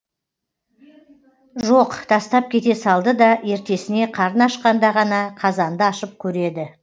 жоқ тастап кете салды да ертесіне қарны ашқанда ғана қазанды ашып көреді